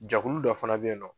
Jɛkulu dɔ fana be yen nɔ